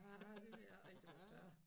Ah det ved jeg ikke om jeg tør